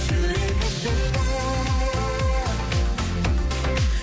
жүрек іздейді